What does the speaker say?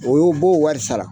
O b'o wari sara.